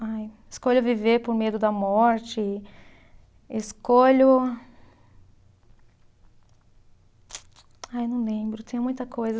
Ai, escolho viver por medo da morte, escolho. Ai, não lembro, tem muita coisa.